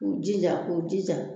K'u jija, k'u jija